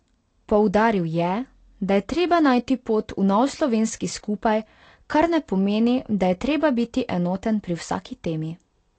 Poudaril je, da je treba najti pot v nov slovenski skupaj, kar ne pomeni, da je treba biti enoten pri vsaki temi.